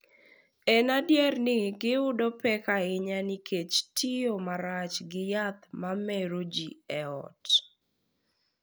En adier ni, giyudo pek ahinya nikech tiyo marach gi yath ma mero ji e ot,